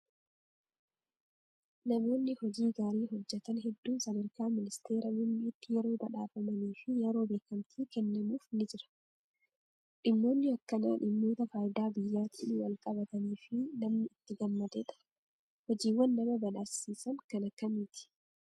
Namoonni hojii gaarii hojjatan hedduun sadarkaa ministeera muummeetti yeroo badhaafamanii fi yeroo beekamtiin kennamuuf ni jira. Dhimmoonni akkanaa dhimmoota fayidaa biyyaatiin wal qabatanii fi namni itti gammadedha. Hojiiwwan nama badhaasisan kan akkamiiti?